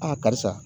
karisa